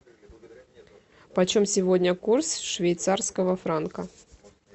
почем сегодня курс швейцарского франка